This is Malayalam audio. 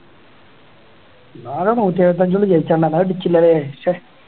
ഇന്നാള് നൂറ്റിഎഴുപത്തഞ്ച് കൊണ്ട് ജയിച്ചാണല്ലോ അത് അടിച്ചില്ലല്ലേ ശ്ശെ